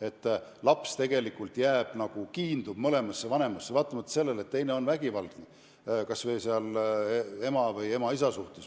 et laps tegelikult kiindub mõlemasse vanemasse, vaatamata sellele, et teine on tema või ema või isa vastu vägivaldne.